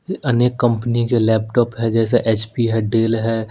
अनेक कंपनी के लैपटॉप है जैसे एच_पी है डैल है।